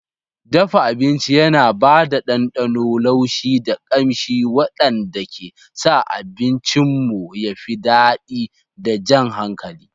Dafa abinci yana ba da ɗanɗano, laushi, da ƙamshi waɗanda ke sa abincinmu ya fi daɗi da jan hankali.